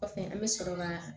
Kɔfɛ an bɛ sɔrɔ ka